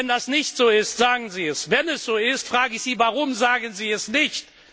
Wenn das nicht so ist, sagen Sie es. Wenn es so ist, frage ich Sie Warum sagen Sie es nicht?